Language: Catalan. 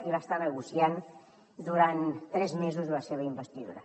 i va estar negociant durant tres mesos la seva investidura